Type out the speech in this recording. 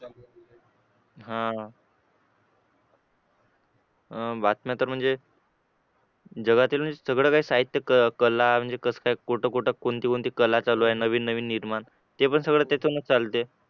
हा अह बातम्या तर म्हणजे जगातील सगळं काही साहित्य कला म्हणजे म्हणजे कसं काय कुठं कुठं कोणती कोणती कला चालू आहे नवनवीन निर्माण पण सगळं तिथूनच चालतय